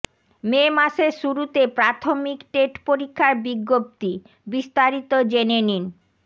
মে মাসের শুরুতে প্রাথমিক টেট পরীক্ষার বিজ্ঞপ্তিঃ বিস্তারিত জেনে নিন